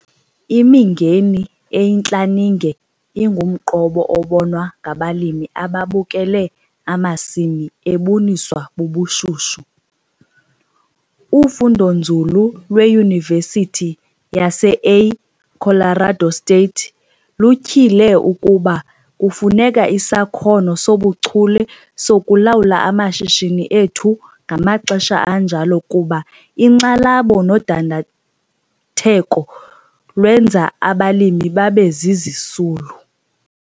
Imingeni eyintlaninge ingumqobo obonwa ngabalimi ababukele amasimi ebuniswa bubushushu. Ufundonzulu lweYunivesithi yaseA Colorado State lutyhile ukuba kufuneka isakhono sobuchule sokulawula amashishini ethu ngamaxesha anjalo kuba inkxalabo nodandatheko lwenza abalimi babe zizisulu.